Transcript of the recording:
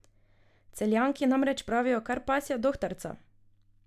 Celjanki namreč pravijo kar pasja dohtarca!